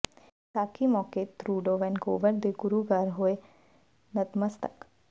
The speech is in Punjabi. ਵਿਸਾਖੀ ਮੌਕੇ ਟਰੂਡੋ ਵੈਨਕੂਵਰ ਦੇ ਗੁਰੂ ਘਰ ਹੋਏ ਨਤਮਤਸਕ